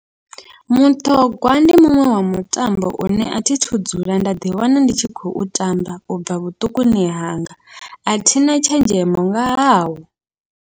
Muṱhogwa ndi muṅwe wa mutambo une athi thu dzula nda ḓi wana ndi tshi khou tamba, ubva vhuṱukuni hanga athina tshenzhemo nga hawo.